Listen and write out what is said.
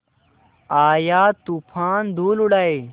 आया तूफ़ान धूल उड़ाए